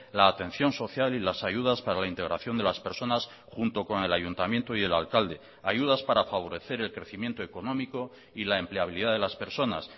la atención social y las ayudas para la integración de las personas junto con el ayuntamiento y el alcalde ayudas para favorecer el crecimiento económico y la empleabilidad de las personas